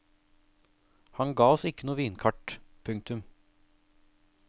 Han ga oss ikke noe vinkart. punktum